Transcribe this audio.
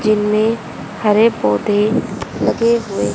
जिनमें हरे पौधे लगे हुए--